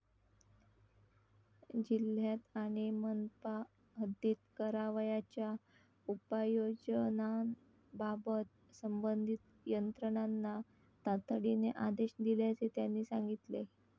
जिल्ह्यात आणि मनपा हद्दीत करावयाच्या उपाययोजनांबाबत संबंधित यंत्रणांना तातडीने आदेश दिल्याचे त्यांनी सांगितले.